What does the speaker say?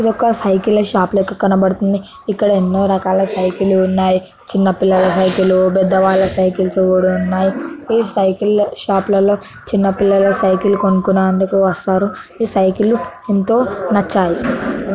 ఇది ఒక సైకిల్ లా షాప్ లెక్క కన బడుతుంది ఇక్కడ ఎన్నో ర కాల సైకిల్ లు ఉన్నాయి చిన్న పిల్లల సైకిల్ లు పెద్ద వాళ్ళ సైకిల్ లు కూడా ఉన్నాయి ఈ సైకిల్ లా షాప్ లో చిన్న పిల్లల సైకిల్ లు కొనుకునేతందుకు వస్తారు ఈ సైకిల్ లు ఎంతో నచ్చాయి.